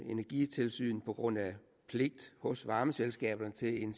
energitilsynet på grund af pligt hos varmeselskaberne til en